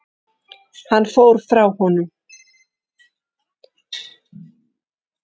Hann fór frá honum.